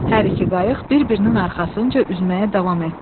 Hər iki qayıq bir-birinin arxasınca üzməyə davam etdi.